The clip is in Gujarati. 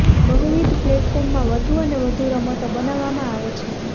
બહુવિધ પ્લેટફોર્મમાં વધુ અને વધુ રમતો બનાવવામાં આવે છે